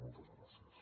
moltes gràcies